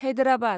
Hyderabad